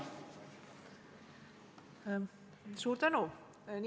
Suur tänu!